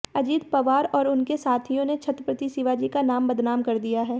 अजित पवार और उनके साथियों ने छत्रपति शिवाजी का नाम बदनाम कर दिया है